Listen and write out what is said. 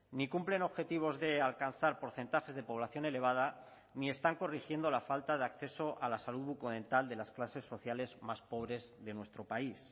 ni cumplen objetivos de alcanzar porcentajes de población elevada ni están corrigiendo la falta de acceso a la salud bucodental de las clases sociales más pobres de nuestro país